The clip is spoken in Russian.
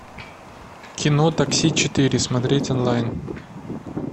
кино такси четыре смотреть онлайн